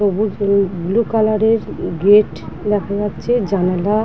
সবুজ নীল blue colour -এর উ গেট দেখা যাচ্ছে জানালা--